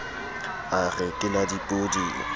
a re ke la dipoding